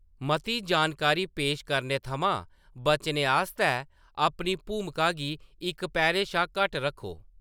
मती जानकारी पेश करने थमां बचने आस्तै अपनी भूमिका गी इक पैह्‌रे शा घट्ट रक्खो।